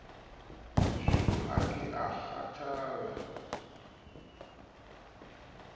shuu ha ke a kgathala